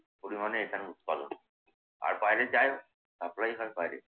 পরিমাণে এখানে উৎপাদন হয়। আর বাইরে যায়। supply হয় বাইরে।